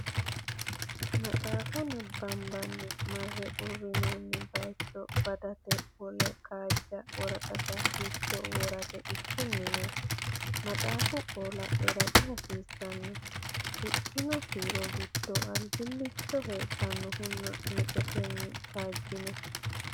Maxaafa nabbambanni marre uurrinoonni bayicho badate wole kaajja woraqata giddo worate ikkinnina maxaafu qoola era dihasiissanno, Shiqqino kiiro giddo albillicho hedannohunna mixotenni kaajjino?